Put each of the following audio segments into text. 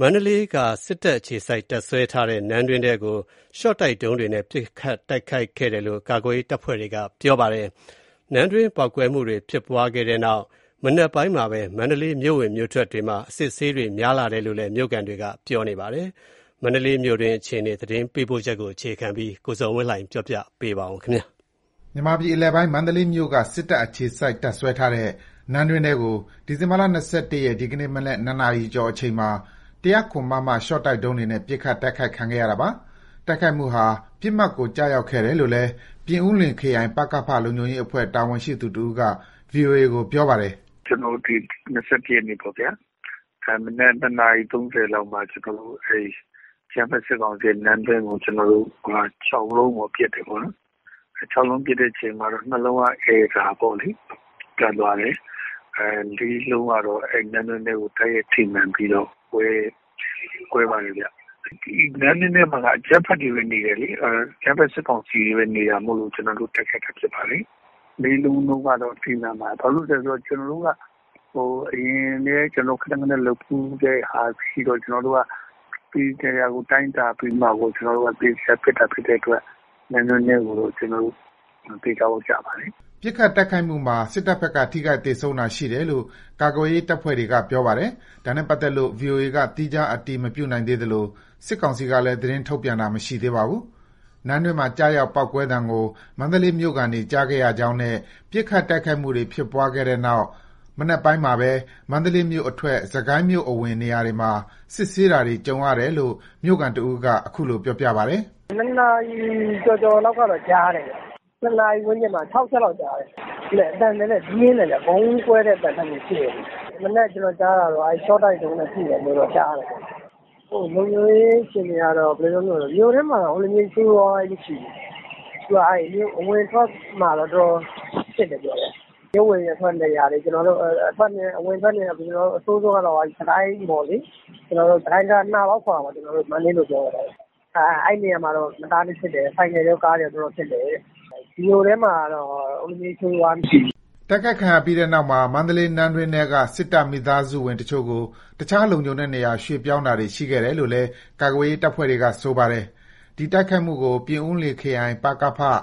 မန္တလေးက စစ်တပ်အခြေစိုက် တပ်စွဲထားတဲ့ နန်းတွင်းထဲကို ရှော့တိုက်ဒုံးတွေနဲ့ ပစ်ခတ်တိုက်ခိုက်ခဲ့တယ်လို့ ကာကွယ်ရေးတပ်ဖွဲ့တွေက ပြောပါတယ်။ နန်းတွင်း ပေါက်ကွဲမှုတွေဖြစ်ပွါးခဲ့တဲ့နောက် မနက်ပိုင်းမှာပဲ မန္တလေး မြို့ဝင်မြို့ထွက်တွေမှာ အစစ်အဆေးတွေ များလာတယ်လို့ မြို့ခံတွေက ပြောပါတယ်။ မန္တလေး မြို့တွင်း အခြေအနေ သတင်းပေးပို့ချက်ကို အခြေခံပြီး ကိုဇော်ဝင်းလှိုင်က ပြောပြပါမယ်။ မြန်မာပြည်အလယ်ပိုင်း မန္တလေးမြို့က စစ်တပ် အခြေစိုက်တပ်စွဲထားတဲ့ နန်းတွင်းထဲကို ဒီဇင်ဘာ ၂၁ ရက် ဒီကနေ့ မနက် ၂ နာရီကျော်အချိန်မှာ ၁၀၇ မမ ရှော့တိုက်ဒုံးတွေနဲ့ ပစ်ခတ် တိုက်ခိုက်ခံရတာပါ။ တိုက်ခိုက်မှုဟာ ပစ်မှတ်ကို ကျရောက်ခဲ့တယ်လို့လည်း ပြင်ဦးလွင်ခရိုင် ပကခလုံခြုံရေးအဖွဲ့တာဝန်ရှိသူတဦးက VOA ကို ပြောပြပါတယ်။ “ကျွန်တော်တို့ ၂၁ ရက်နေ့ပေါ့ မနက် ၂ နာရီ ၃၀ မှာ အကြမ်းဖက် စစ်ကောင်စီရဲ့ နန်းတွင်းကို ကျွန်တော်တို့ ၆ လုံးပစ်တယ်ပေါ့နော်။ ၆ လုံးပစ်တဲ့အချိန်မှာ ၂ လုံးကတော့ အယ်ရာတက်သွားတယ်ပေါ့လေ။ ၄ လုံးကတော့ နန်းတွင်းထဲကို တိုက်ရိုက်ထိမှန်ပြီးတော့ ကွဲပါတယ်ခင်ဗျ။ နန်းတွင်းထဲမှာက အကြမ်းဖက် စစ်ကောင်စီတွေပဲနေလို့ တိုက်ခိုက်တာဖြစ်ပါတယ်။ ၄ လုံး လုံးကတော့ ထိမှန်ပါတယ်။ ဘာလို့လည်းဆိုတော့ ကျွန်တော်တို့ အရင်ကလည်း ခဏခဏ လုပ်ဖူးတဲ့ဟာရှိတော့ သေသေချာချာတိုင်းတာပြီးမှ သေချာချာပစ်တာဖြစ်လို့ နန်းတွင်းထဲကို သေချာပေါက်ကျပါတယ်။” ပစ်ခတ်တိုက်ခိုက်မှုမှာ စစ်တပ်ဘက်က ထိခိုက်သေဆုံးတာရှိတယ်လို့ ကာကွယ်ရေးတပ်ဖွဲ့တွေက ပြောပါတယ်။ ဒါနဲ့ပတ်သက်လို့ ဗွီအိုအေက သီးခြား အတည်မပြုနိုင်သေးသလို စစ်ကောင်စီကလည်း သတင်းထုတ်ပြန်တာ မရှိသေးပါဘူး။ နန်းတွင်းမှာ ကျရောက်ပေါက်ကွဲသံကို မန္တလေးမြို့ခံတွေ ကြားခဲ့ကြရကြောင်းနဲ့ ပစ်ခတ်တိုက်ခိုက်မှုတွေ ဖြစ်ပွါးခဲ့တဲ့နောက် မနက်ပိုင်းမှာပဲ မန္တလေးမြို့အထွက် စစ်ကိုင်းမြို့အဝင် နေရာတွေမှာ စစ်ဆေးတာတွေ ကြုံရတယ်လို့ မြို့ခံတဦးက အခုလို ပြောပြပါတယ်။ “၂ နာရီကျော်ကျော်လောက်ကတော့ ကြားတယ်ခင်ဗျ။ ၂ နာရီ ဝန်းကျင်မှာ ၆ ချက်လောက်ကြားတယ်။ အသံနည်းနည်းပြင်းတယ်။ ဗုံးကွဲတဲ့အသံလိုမျိုး မနက် ကျွန်တော်ကြားတာတော့ ရှော့တိုက်ဒုံးနဲ့ထုတယ်လို့ ကြားတာပေါ့လေ။ လုံခြုံရေးအခြေအနေကတော့ ဘယ်လိုပြောမလည်းဆိုရင် မြို့ထဲမှာတော့ ဆိုးဆိုးရွားရွားကြီး မရှိဘူး။ အဝင်အထွက်မှာတော့ တော်တော်စစ်တယ်။ မြို့ဝင်မြို့ထွက်နေရာတွေ အဆိုးဆုံးကတော့ စစ်ကိုင်းတံတား နှာပေါက်ခေါ်တာပေါ့။ မန္တလေးလိုပြောရင်တော့။ အဲ့နေရာမှတော့ ဆိုင်ကယ်တွေကော ကားတွေကော တော်တော်စစ်တယ်။ မြို့ထဲမှာတော့ ဆိုးဆိုးရွားရွားမရှိဘူး။” တိုက်ခိုက်ခံရပြီးတဲ့နောက်မှာ မန္တလေးနန်းတွင်းထဲက စစ်တပ် မိသားစုဝင်အချို့ကို တခြား လုံခြုံတဲ့နေရာ ရွှေ့ပြောင်းတာ တွေရှိခဲ့တယ်လို့လည်း ကာကွယ်ရေးတပ်ဖွဲ့တွေက ဆိုပါတယ်။ ဒီတိုက်ခိုက်မှုကို ပြင်ဦးလွင်ခရိုင်ပကဖ ၊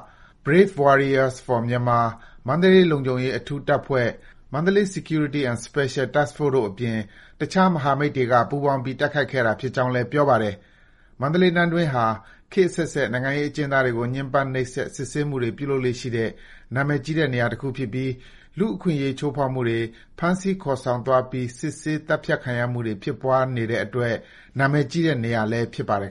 Brave Warriors For Myanmar ၊ မန္တလေး လုံခြုံရေး အထူးတပ်ဖွဲ့ (Mandalay Security and Special Task Force) တို့ အပြင် တခြား မဟာမိတ်တွေက ပူးပေါင်းပြီး တိုက်ခိုက်ခဲ့တာ ဖြစ်ကြောင်းလည်း ပြောပါတယ်။ မန္တလေး နန်းတွင်းဟာ ခေတ်အဆက်ဆက် နိုင်ငံရေး အကျဉ်းသားတွေကို ညှင်းပန်းနှိပ်စက် ဖမ်ဆီးစစ်ဆေးမှုတွေ ပြုလုပ်လေ့ရှိတဲ့ နာမည်ကြီးတဲ့ နေရာတခုဖြစ်ပြီး လူအခွင့်ရေးချိုးဖောက်မှုတွေ၊ ဖမ်းဆီးခေါ်ဆောင်သွားပြီး စစ်ဆေးသတ်ဖြတ်ခံရမှုတွေ ဖြစ်ပွါးနေတဲ့အတွက် နာမည်ကြီးတဲ့နေရာလည်း ဖြစ်ပါတယ်